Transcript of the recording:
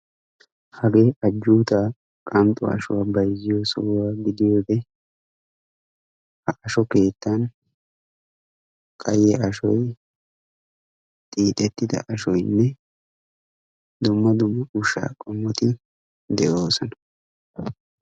Hage ajjutta qanxxo ashshuwa bayzziyo sohuwa gidiyoode ha ashsho keettan qayye ashshoy xiixxetida ashshoynne dumma dumma ushsha qommoti de'oosona.